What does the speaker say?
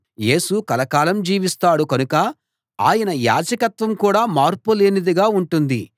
యేసు కలకాలం జీవిస్తాడు కనుక ఆయన యాజకత్వం కూడా మార్పులేనిదిగా ఉంటుంది